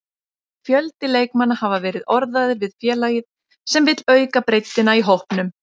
Fjöldi leikmanna hafa verið orðaðir við félagið sem vill auka breiddina í hópnum.